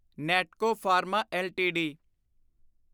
Natco pharma LTD